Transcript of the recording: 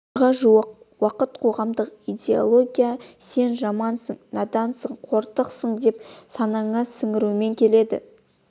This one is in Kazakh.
ғасырға жуық уақыт қоғамдық идеология сен жамансың надансың қорсың деп санаңа сіңірумен келеді